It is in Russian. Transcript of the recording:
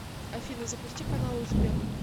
афина запусти каналы успех